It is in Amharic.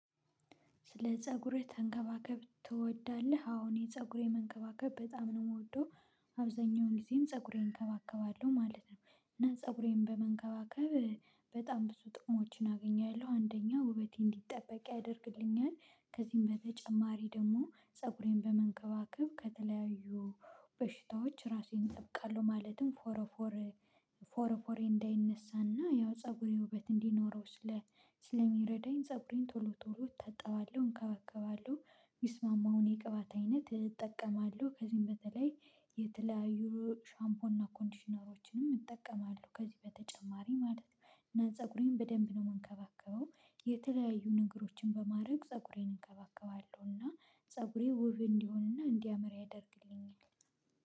ስለ ፀጉርህ መንከባከብ ትወዳለህ? አሁን ፀጉሬን መንከባከብ በጣም ነው የምወደው። አብዛኛውን ጊዜም ፀጉሬን እንከባከባለሁ ማለት ነው እና ፀጉሬን በመንከባከብ በጣም ብዙ ጥሞችን አገኛለሁ። አንደኛው ውበቴ እንዲጠበቅ ያደርግልኛል። ከዚህም በተጨማሪ ደግሞ ፀጉሬን በመንከባከብ ከተለያዩ በሽታዎች ራሴን እጠብቃለሁ ማለትም ፎረፎር ፎረፎሬ እንዳይነሳና ያው ፀጉሬ ውበት እንዲኖረው ስለሚረዳኝ ፀጉሬን ቶሎ ቶሎ እጠባለሁ እንከባከባለሁ። ሚስማማውን የቅባት አይነት እጠቀማለሁ። ከዚህም በተለይ የተለያዩ ሻምፖን እና ኮንዲሽነሮችንም እጠቀማለሁ። ከዚህ በተጨማሪ ማለት ነው። እና ፀጉሬን በደንብ ነው የምንከባከበው። የተለያዩ ነገሮችን በማድረግ ፀጉሬን እንከባከባለሁ እና ፀጉሬ ወብ እንዲሆንና እንዲያመራ ያደርግልኛል።